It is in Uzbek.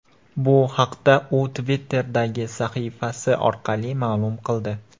Bu haqda u Twitter’dagi sahifasi orqali ma’lum qildi .